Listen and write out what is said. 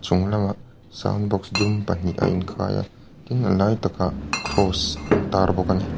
sound box dum pahnih a inkhai a tin a lai takah cross an tar bawk a ni.